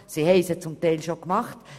Diese haben sie zum Teil schon gemacht.